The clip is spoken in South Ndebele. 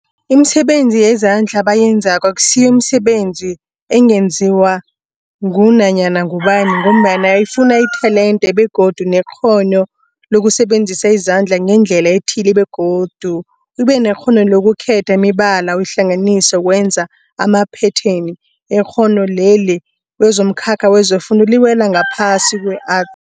Imisebenzi yezandla abayenzako akusiyo imisebenzi ungenziwa ngunyana ngubani mgombana ifuna itelente begodu nekghono lokusebenzisa izandla ngendlela ethile, begodu ubenekghono lokukhetha imibala uyihlanganise ukwenza amaphetheni. Ikghono leli kwezomkhakha wefundo liwela ngaphasi kwe-Art.